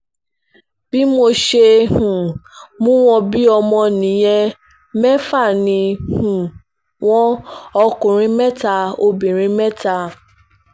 bí mo ṣe um mú wọn bíi ọmọ nìyẹn mẹ́fà ni um wọ́n ọkùnrin mẹ́ta obìnrin mẹ́ta